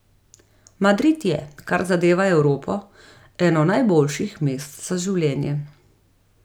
Madrid je, kar zadeva Evropo, eno najboljših mest za življenje.